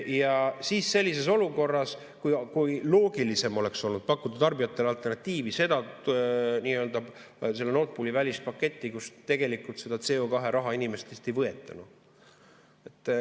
Ja seda sellises olukorras, kui loogilisem oleks olnud pakkuda tarbijatele alternatiivi, Nord Pooli välist paketti, kus tegelikult seda CO2-raha inimestelt ei võeta.